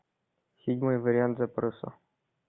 седьмой вариант запроса